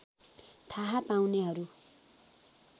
थाहा पाउनेहरू